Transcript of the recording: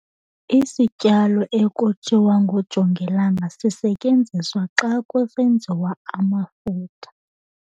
Isityalo ekuthiwa ngujongilanga sisetyenziswa xa kusenziwa amafutha.